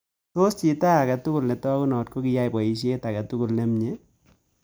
Tos' chito ne taagunot ko kiyai boisyet agetugul ne myee